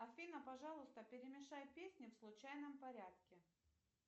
афина пожалуйста перемешай песни в случайном порядке